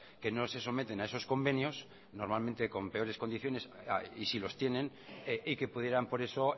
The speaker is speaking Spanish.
que no se someten a esos convenios normalmente con peores condiciones y si los tienen y que pudieran por eso